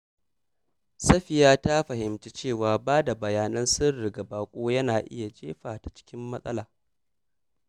Safiya ta fahimci cewa ba da bayanan sirri ga baƙo yana iya jefa ta cikin matsala.